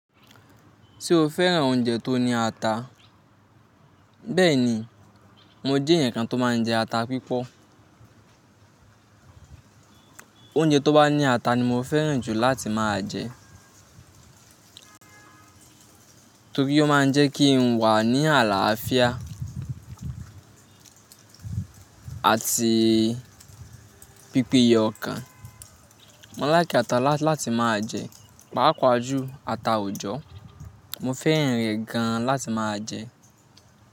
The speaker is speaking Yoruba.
Ṣé o fẹ́ran oúnjẹ tó ní ata? Bẹ́ẹ̀ni, mo jẹ́ èèyàn kan tó máa ń jẹ ata pípọ́. Oúnjẹ tó bá ní ata ni mo fẹ́ran jù láti máa jẹ. Torí ó máa ń jẹ́ kí n wà ní àlàáfíà àti pípeye ọkàn. Mo like ata láti máa jẹ, pàápàá jù ata òjọ́. Mo fẹ́ràn rẹ̀ gan láti máa jẹ.